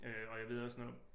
Øh og jeg ved også